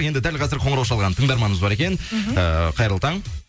енді дәл қазір қоңырау шалған тыңдарманымыз бар екен ыыы қайырлы таң